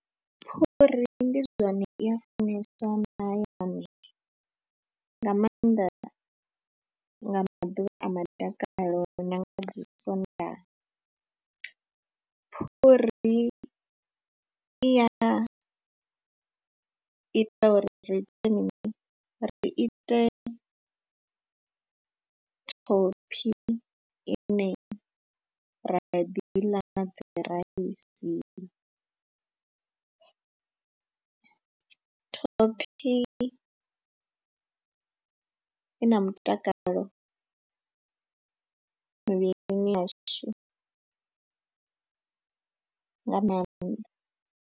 Phuri ndi zwone i a funeswa mahayani nga maanḓa nga maḓuvha a madakalo na nga dzi Sondaha, phuri i ya ita uri ri ite mini, ri ite thophi ine ra ya ḓi i ḽa na dzi raisi, thophi i na mutakalo mivhilini yashu nga maanḓa.